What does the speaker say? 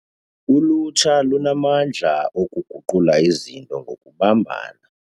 Ulutsha lunamandla okuguqula izinto ngokubumbana.